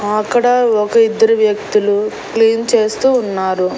ఆ అక్కడ ఒక ఇద్దరు వ్యక్తులు క్లీన్ చేస్తూ ఉన్నారు.